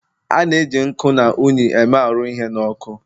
a na-eji nkuu na unyi eme arụ ihe n'ọkụ